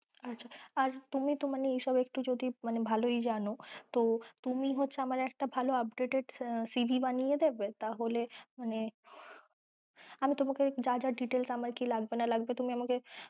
আর তুমি তো মানে এইসব একটু যদি ভালোই জানো তো তুমি হচ্ছে আমার একটা ভালো updatedCV বানিয়ে দেবে? তাহলে মানে আমি তোমাকে যা যা details আমার কি লাগবে না লাগবে তুমি আমাকে